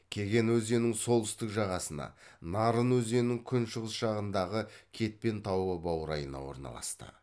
кеген өзенінің солтүстік жағасына нарын өзенінің күншығыс жағынадғы кетпен тауы баурайына орналасты